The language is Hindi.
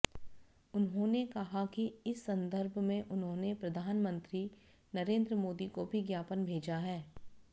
उन्होंने कहा कि इस संदर्भ में उन्होंने प्रधानमंत्री नरेंद्र मोदी को भी ज्ञापन भेजा है